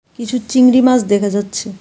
কিছু চিংড়ি মাছ দেখা যাচ্ছে.